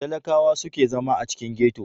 Talaƙawa su ke zama a cikin ghetto.